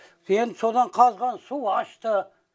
енді содан қазған су ащты